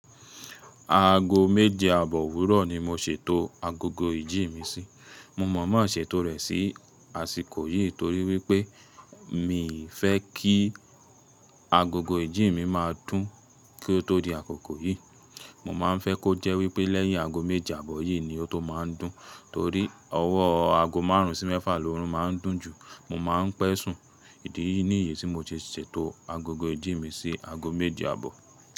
Aago méje àbọ̀ òwúrọ̀ ni mo ṣètò agogo ìjí mi sí. Mo mọọmọ ṣètò rẹ̀ sí àsìkò yìí torí wípé mi fẹ́ kí agogo ìjí mi máa dùn kí ó tó di àkókò yìí. Mo máa ń fẹ́ kó jẹ́ wípé lẹ́yìn aago méje àbọ̀ yìí ni ó tó máa ń dùn. Torí ọwọ́ aago márùn sí mẹ́fà lórun máa ń dùn jù. Mo máa ń pẹ̀ sùn. Idi nì yìí tí mo ti ṣètò agogo ìjí mi sí aago méje àbọ̀.